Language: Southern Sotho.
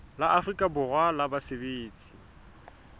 la afrika borwa la basebetsi